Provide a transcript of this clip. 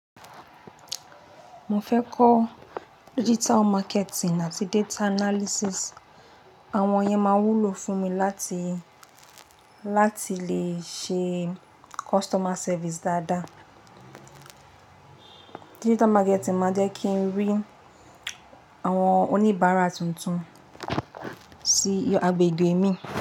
Mo fẹ́ kọ́ digital marketing àti data analysis. Àwọn yẹn máa wúlò fún mi láti, láti lè ṣe customer service dáadáa. Digital marketing máa jẹ́ kí n rí àwọn oníbàárà tuntun sí agbègbè mi.